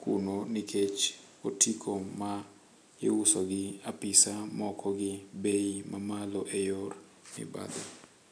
kuno nikech otiko ma iuso gi apisaa moko gi bei mamalo e yor mibadhi.